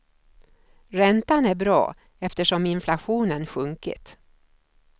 Räntan är bra eftersom inflationen sjunkit.